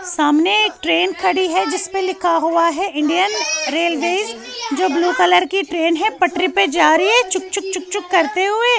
.سامنے ایک ٹرین خدی ہی جسپے لکھا ہوا ہیں انڈین ریلویز جو بلوے کلر کی ٹرین ہیں پٹری پی جا رہی ہیں چوک چوک چوک چوک کرتے ہوئے